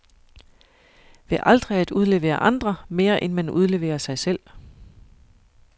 Ved aldrig at udlevere andre, mere end man udleverer sig selv.